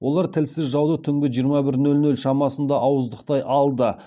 олар тілсіз жауды түнгі жиырма бір нөл нөл шамасында ауыздықтай алды